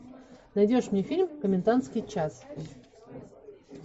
найдешь мне фильм комендантский час